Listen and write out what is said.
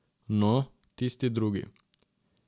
No, tisti drugi.